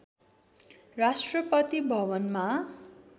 राष्ट्रपति भवनमा